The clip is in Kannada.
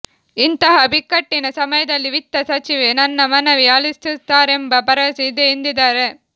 ಇಂತಹ ಬಿಕ್ಕಟ್ಟಿನ ಸಮಯದಲ್ಲಿ ವಿತ್ತ ಸಚಿವೆ ನನ್ನ ಮನವಿ ಆಲಿಸುತ್ತಾರೆಂಬ ಭರವಸೆ ಇದೆ ಎಂದಿದ್ದಾರೆ